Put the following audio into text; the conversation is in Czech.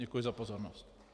Děkuji za pozornost.